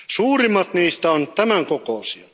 Suurimmat niistä on tämän kokoisia.